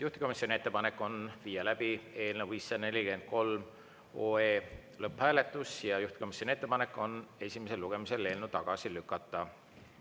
Juhtivkomisjoni ettepanek on viia läbi eelnõu 543 lõpphääletus ja juhtivkomisjoni ettepanek on eelnõu esimesel lugemisel tagasi lükata.